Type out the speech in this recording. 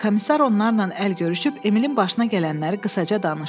Komissar onlarla əl görüşüb Emilin başına gələnləri qısaca danışdı.